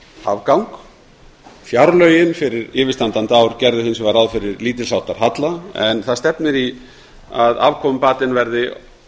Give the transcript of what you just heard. afgang fjárlögin fyrir yfirstandandi ár gerðu hins vegar ráð fyrir lítils háttar halla en það stefnir í að afkomubatinn verði